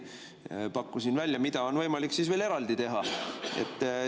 Ma pakkusin välja, mida on võimalik veel eraldi teha.